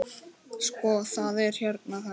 Sko, það er hérna þannig.